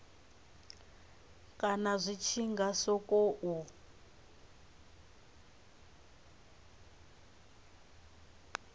kana zwi tshi nga sokou